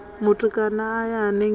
mutukana a ya hangei hu